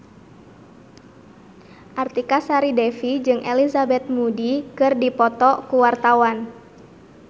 Artika Sari Devi jeung Elizabeth Moody keur dipoto ku wartawan